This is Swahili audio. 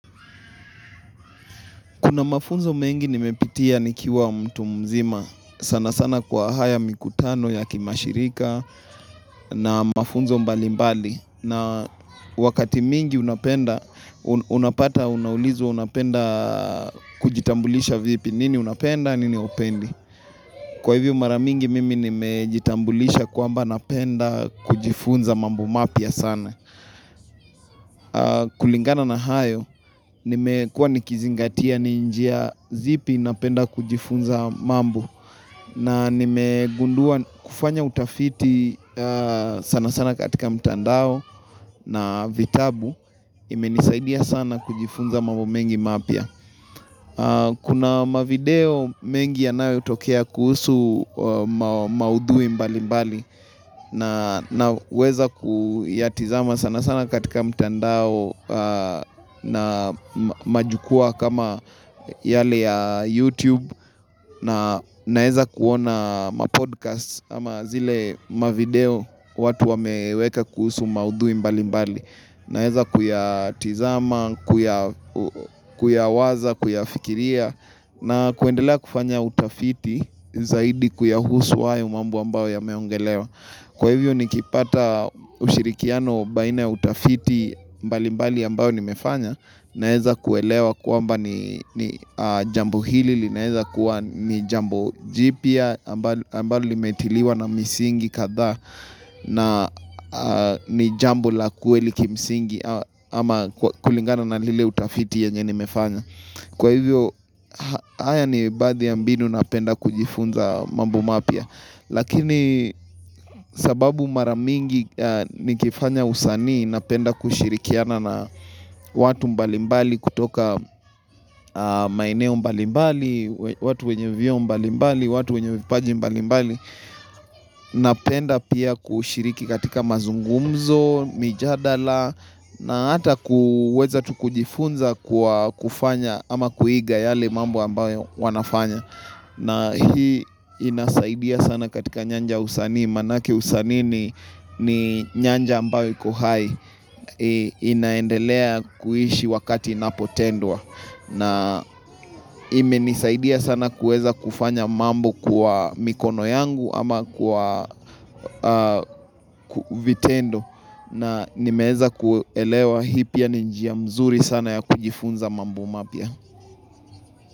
Kuna mafunzo mengi nimepitia nikiwa mtu mzima. Sanasana kwa haya mikutano ya kimashirika na mafunzo mbali mbali. Na wakati mingi unapenda, unapata, unaulizwa unapenda kujitambulisha vipi. Nini unapenda, nini haupendi. Kwa hivyo mara mingi mimi nimejitambulisha kwamba napenda kujifunza mambu mapya sana. Kulingana na hayo, nimekuwa nikizingatia ni njia zipi napenda kujifunza mambo na nimegundua kufanya utafiti sana sana katika mtandao na vitabu imenisaidia sana kujifunza mambo mengi mapya Kuna mavideo mengi yanayotokea kuhusu maudhui mbali mbali na naweza kuyatizama sana sana katika mtandao na majukwaa kama yale ya YouTube na naeza kuona ma-podcasts ama zile ma-video watu wameweka kuhusu maudhui mbali mbali. Naweza kuyatizama, kuyawaza, kuyafikiria na kuendelea kufanya utafiti zaidi kuyahusu hayo mambo ambayo yameongelewa. Kwa hivyo nikipata ushirikiano baina ya utafiti mbalimbali ambayo nimefanya naeza kuelewa kwamba ni jambo hili, linaeza kuwa ni jambo jipya ambalo limetiliwa na misingi kadhaa na ni jambo la kweli kimisingi ama kulingana na lile utafiti yenye nimefanya. Kwa hivyo, haya ni baadhi ya mbinu napenda kujifunza mambo mapya. Lakini sababu mara mingi nikifanya usanii, napenda kushirikiana na watu mbalimbali kutoka maeneo mbalimbali, watu wenye vyeo mbalimbali, watu wenye vipaji mbalimbali. Napenda pia kushiriki katika mazungumzo, mijadala, na hata kuweza tu kujifunza kwa kufanya ama kuiga yale mambo ambayo wanafanya na hii inasaidia sana katika nyanja ya usanii Maanake usanii ni nyanja ambayo iko hai inaendelea kuishi wakati inapotendwa na imenisaidia sana kuweza kufanya mambo kwa mikono yangu ama kwa vitendo na nimeweza kuelewa hii pia ni njia mzuri sana ya kujifunza mambo mapya.